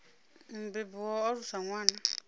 mubebi wa u alusa ṅwana